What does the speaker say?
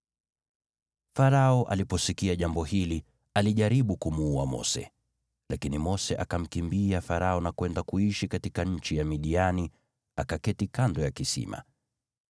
Farao aliposikia jambo hili, alijaribu kumuua Mose, lakini Mose akamkimbia Farao na kwenda kuishi katika nchi ya Midiani, akaketi kando ya kisima.